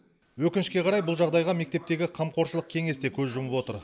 өкінішке қарай бұл жағдайға мектептегі қамқоршылық кеңес те көз жұмып отыр